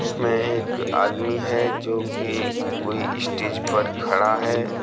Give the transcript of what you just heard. इसमें एक आदमी है जोकि कोई स्टेज पर खड़ा है।